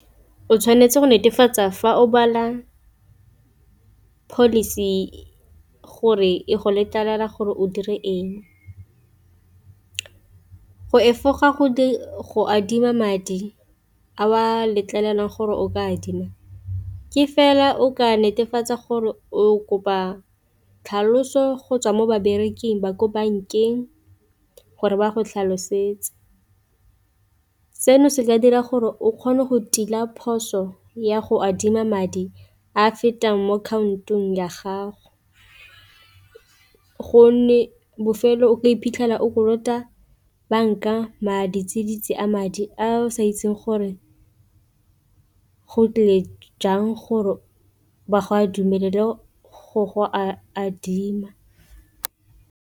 O tshwanetse go netefatsa fa o bala policy gore e go letlelela gore o dire eng, go efoga go adima madi a o a letlelelang gore o ka adima ke fela o ka netefatsa gore o kopa tlhaloso go tswa mo babereki ba ko bankeng gore ba go tlhalosetse, seno se ka dira gore o kgone go tila phoso ya go adima madi a fetang mo ya gago, gonne bofelo o ka iphitlhela o kolota banka madi a madi a o sa itse gore go tlile jang gore ba go a dumelele go go a adima.